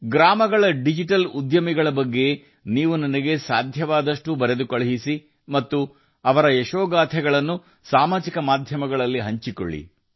ಹಳ್ಳಿಗಳ ಡಿಜಿಟಲ್ ಉದ್ಯಮಿಗಳ ಬಗ್ಗೆ ನಿಮಗೆ ಸಾಧ್ಯವಾದಷ್ಟು ನನಗೆ ಬರೆಯಿರಿ ಮತ್ತು ಅವರ ಯಶಸ್ಸಿನ ಕಥೆಗಳನ್ನು ಸಾಮಾಜಿಕ ಮಾಧ್ಯಮದಲ್ಲಿ ಹಂಚಿಕೊಳ್ಳಿ